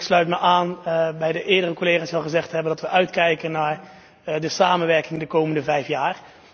Ik sluit mij aan bij eerdere collega's die al gezegd hebben dat wij uitkijken naar de samenwerking de komende vijf jaar.